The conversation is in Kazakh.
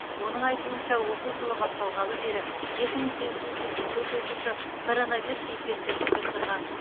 оның айтуынша оқу жылы басталғалы бері екі мың сегіз жүз сексен төрт оқушы коронавирус инфекциясын жұқтырған